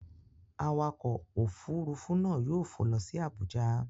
Awakọ̀ òfuurufú náà yóò fò lọ sí Abuja.